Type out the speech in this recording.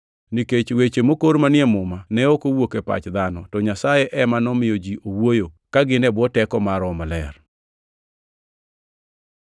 Nikech weche mokor manie Muma ne ok owuok e pach dhano, to Nyasaye ema nomiyo ji owuoyo, ka gin e bwo teko mar Roho Maler.